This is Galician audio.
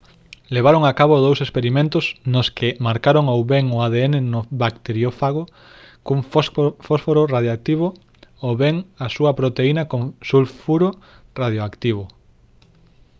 levaron a cabo dous experimentos nos que marcaron ou ben o adn no bacteriófago cun fósforo radioactivo ou ben a súa proteína con sulfuro radioactivo